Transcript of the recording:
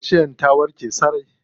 Kaciyar ta warke sosai.